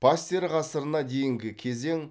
пастер ғасырына дейінгі кезең